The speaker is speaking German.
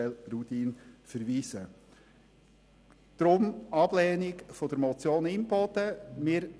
Deshalb lehnen wir die Motion Imboden ab.